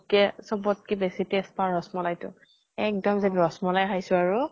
কে চবত্কে বেছি taste পাওঁ ৰস মলাই টো। এক্দম যেন ৰস মলাই খাইছো আৰু।